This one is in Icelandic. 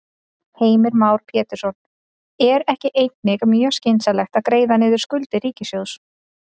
Heimir Már Pétursson: Er ekki einnig mjög skynsamlegt að greiða niður skuldir ríkissjóðs?